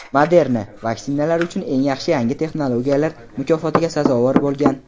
Moderna "Vaksinalar uchun eng yaxshi yangi texnologiyalar" mukofotiga sazovor bo‘lgan.